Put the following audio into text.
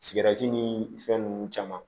Sigɛriti ni fɛn nunnu caman